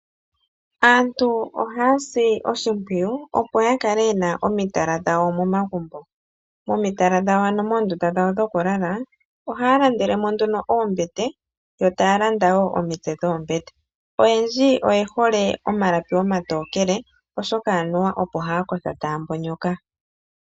Aantu ohaa si oshimpwiyu opo ya kale ye na omitala dhawo momagumbo. Momitala dhawo (moondunda dhawo dhokulala) ohaa landele mo nduno oombete, yo taa landa wo omitse dhoombete. Oyendji oye hole omalapi omatokele, oshoka anuwa opo haa kotha taa mbonyoka.